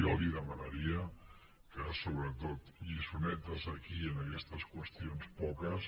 jo li demanaria que sobretot lliçonetes aquí en aquestes qüestions poques